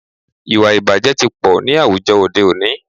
Ìwàìbàjẹ́ tí pọ̀ ní àwùjọ òde òní.